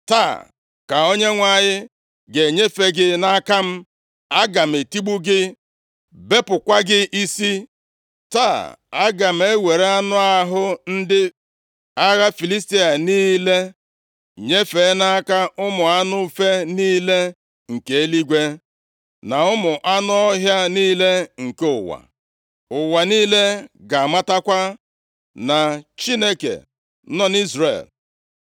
Taa ka Onyenwe anyị ga-enyefe gị nʼaka m. Aga m etigbu gị, bepụkwa gị isi. Taa aga m ewere anụ ahụ ndị agha Filistia niile nyefee nʼaka ụmụ anụ ufe niile nke eluigwe, na ụmụ anụ ọhịa niile nke ụwa. Ụwa niile ga-amatakwa na Chineke nọ nʼIzrel.